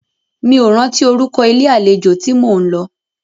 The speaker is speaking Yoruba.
Mí ò rántí orúkọ ilé àlejò tí mó ń lọ.